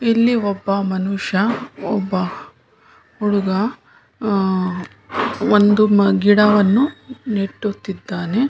ಇಲ್ಲಿ ಒಬ್ಬ ಮನುಷ್ಯ ಒಬ್ಬ ಹುಡುಗ ಆಹ್ಹ್ ಒಂದು ಗಿಡವನ್ನು ನೆಟ್ಟುತ್ತಿದ್ದಾನೆ.